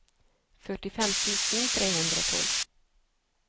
førtifem tusen tre hundre og tolv